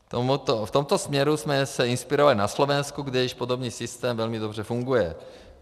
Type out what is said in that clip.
V tomto směru jsme se inspirovali na Slovensku, kde již podobný systém velmi dobře funguje.